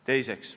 Teiseks.